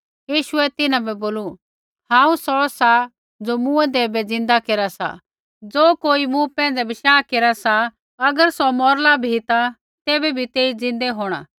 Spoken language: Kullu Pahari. यीशुऐ तिन्हां बै बोलू हांऊँ सौ सा ज़ो मूँऐंदै बै ज़िन्दा केरा सा ज़ो कोई मूँ पैंधै बशाह केरा सा अगर सौ मौरला भी ता तैबै भी तेई ज़िन्दै होंणा